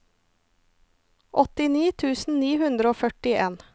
åttini tusen ni hundre og førtien